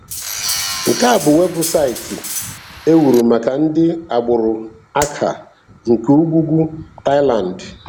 Nke a bụ weebụsaịtị e wuru maka ndị agbụrụ Akha nke ugwu ugwu Thailand.